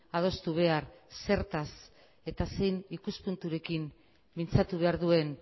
adostu behar zertaz eta zein ikuspunturekin mintzatu behar duen